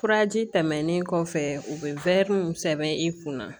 Furaji tɛmɛnen kɔfɛ u bɛ mun sɛbɛn i kun na